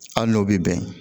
Hali n'o bɛ bɛn